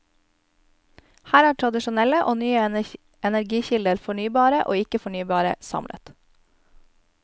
Her er tradisjonelle og nye energikilder, fornybare og ikke fornybare, samlet.